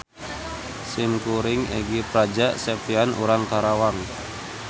Simkuring Egi Praja Septian urang Karawang.